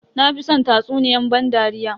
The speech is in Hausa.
Na fi san tatsuniyan ban dariya.